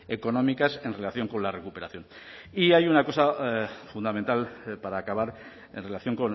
económicas en relación con la recuperación y hay una cosa fundamental para acabar en relación